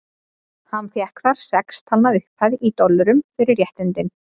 Hann fékk þar sex talna upphæð, í dollurum, fyrir réttindin.